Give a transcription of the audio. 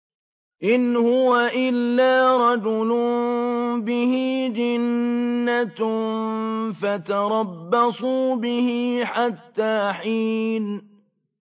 إِنْ هُوَ إِلَّا رَجُلٌ بِهِ جِنَّةٌ فَتَرَبَّصُوا بِهِ حَتَّىٰ حِينٍ